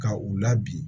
Ka u labi